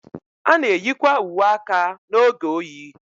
A na-eyikwa uwe aka n'oge oyi.